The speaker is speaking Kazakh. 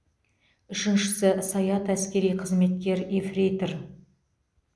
үшіншісі саят әскери қызметкер ефрейтор